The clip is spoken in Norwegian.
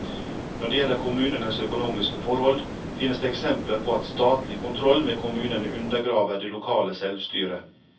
Når det gjelder kommunenes økonomiske forhold, finnes det eksempler på at statlig kontroll med kommunene undergraver det lokale selvstyre.